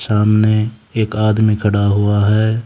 सामने एक आदमी खड़ा हुआ है।